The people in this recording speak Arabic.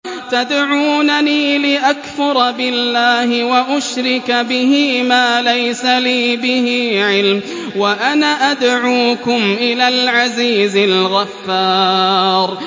تَدْعُونَنِي لِأَكْفُرَ بِاللَّهِ وَأُشْرِكَ بِهِ مَا لَيْسَ لِي بِهِ عِلْمٌ وَأَنَا أَدْعُوكُمْ إِلَى الْعَزِيزِ الْغَفَّارِ